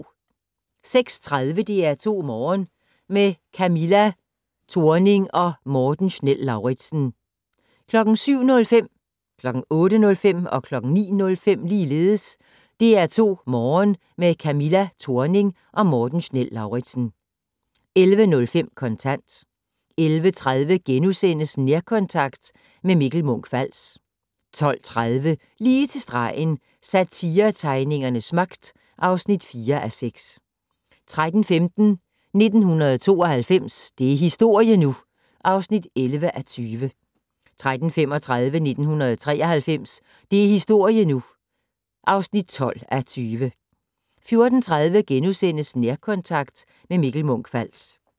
06:30: DR2 Morgen - med Camilla Thorning og Morten Schnell-Lauritzen 07:05: DR2 Morgen - med Camilla Thorning og Morten Schnell-Lauritzen 08:05: DR2 Morgen - med Camilla Thorning og Morten Schnell-Lauritzen 09:05: DR2 Morgen - med Camilla Thorning og Morten Schnell-Lauritzen 11:05: Kontant 11:30: Nærkontakt - med Mikkel Munch-Fals * 12:30: Lige til stregen - Satiretegningernes magt (4:6) 13:15: 1992 - det er historie nu! (11:20) 13:35: 1993 - det er historie nu! (12:20) 14:30: Nærkontakt - med Mikkel Munch-Fals *